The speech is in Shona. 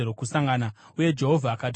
uye Jehovha akati kuna Mozisi,